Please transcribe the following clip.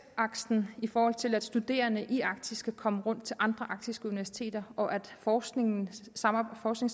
aksen i forhold til at studerende i arktis kan komme rundt til andre arktiske universiteter og at forskningssamarbejdet